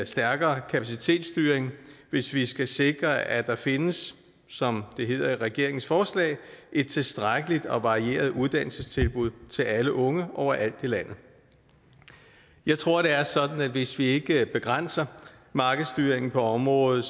stærkere kapacitetsstyring hvis vi skal sikre at der findes som det hedder i regeringens forslag et tilstrækkeligt og varieret uddannelsestilbud til alle unge overalt i landet jeg tror at det er sådan at hvis vi ikke begrænser markedsstyringen på området